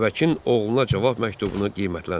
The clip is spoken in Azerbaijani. Babəkin oğluna cavab məktubunu qiymətləndir.